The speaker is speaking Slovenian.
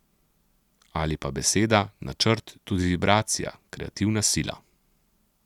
Ali pa beseda, načrt, tudi vibracija, kreativna sila.